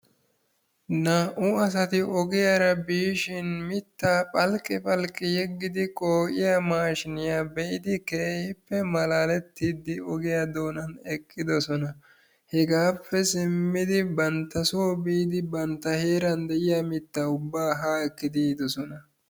Naa'u asatti ogiyara biishshin mitta phalqqi phalqqi yeggidi qoo'iya maashinya be'iddi keehippe maalalettidi ogiyaa doonani eqidossona. Hegaappe simiddi bantta soo biidi bantta heeran de'iyaa mitta ubba haa ekiddi yiidosona.